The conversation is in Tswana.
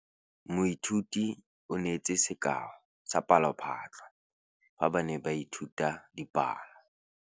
Moithuti o neetse sekaô sa palophatlo fa ba ne ba ithuta dipalo.